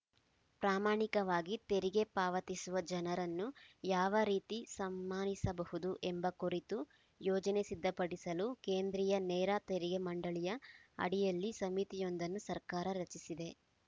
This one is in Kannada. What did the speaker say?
ಪ್ರಾಮಾಣಿಕವಾಗಿ ತೆರಿಗೆ ಪಾವತಿಸುವ ಜನರನ್ನು ಯಾವ ರೀತಿ ಸಮ್ಮಾನಿಸಬಹುದು ಎಂಬ ಕುರಿತು ಯೋಜನೆ ಸಿದ್ಧಪಡಿಸಲು ಕೇಂದ್ರೀಯ ನೇರ ತೆರಿಗೆ ಮಂಡಳಿಯ ಅಡಿಯಲ್ಲಿ ಸಮಿತಿಯೊಂದನ್ನು ಸರ್ಕಾರ ರಚಿಸಿದೆ